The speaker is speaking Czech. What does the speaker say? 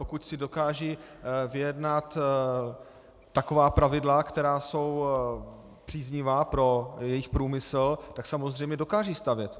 Pokud si dokážou vyjednat taková pravidla, která jsou příznivá pro jejich průmysl, tak samozřejmě dokážou stavět.